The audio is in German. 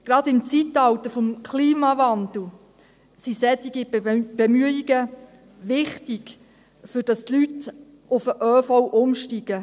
Gerade im Zeitalter des Klimawandels sind solche Bemühungen wichtig, damit die Leute auf den ÖV umsteigen.